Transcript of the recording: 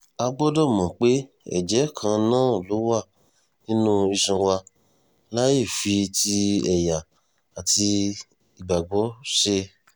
a gbọ́dọ̀ mọ̀ pé ẹ̀jẹ́ kan náà ló wà nínú iṣan wa láì fi ti ẹ̀yà àti ìgbàgbọ́ ṣe